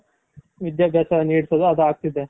ವಿಧ್ಯಾಭ್ಯಾಸ ನೀಡ್ಸೋದು ಆಗ್ತಿದೆ.